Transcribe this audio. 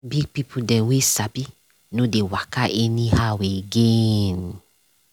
big pipo dem wey sabi nor dey waka anyhow again.